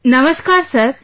Namaskar Sir